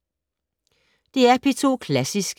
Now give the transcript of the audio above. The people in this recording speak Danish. DR P2 Klassisk